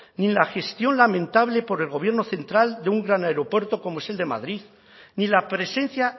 ni la gestión lamentable por el gobierno central de un gran aeropuerto como es el de madrid ni la presencia